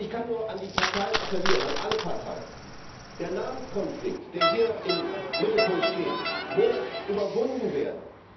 Ich kann nur an alle Parteien appellieren Der Namenskonflikt, der hier im Mittelpunkt steht, muss überwunden werden!